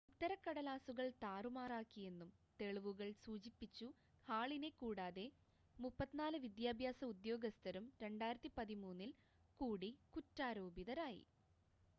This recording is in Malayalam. ഉത്തരക്കടലാസുകൾ താറുമാറാക്കിയെന്നും തെളിവുകൾ സൂചിപ്പിച്ചു ഹാളിനെ കൂടാതെ 34 വിദ്യാഭ്യാസ ഉദ്യോഗസ്ഥരും 2013-ൽ കൂടി കുറ്റാരോപിതരായി